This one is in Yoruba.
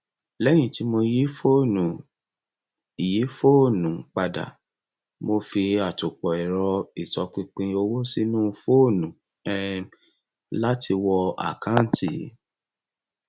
lẹyìn tí mo yí fóònù yí fóònù padà mo fi àtòpọ ẹrọ ìtọpinpin owó sínú fóònù um láti wọ àkanti